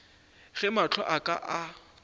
ge mahlo a ka a